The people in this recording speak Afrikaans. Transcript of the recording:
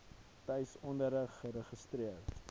tuis onderrig geregistreer